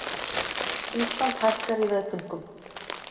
Ísland hækkar í veðbönkum